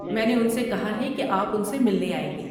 میں نے ان سے کہا ہے کہ آپ ان سے ملنے آئیں گے۔